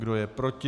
Kdo je proti?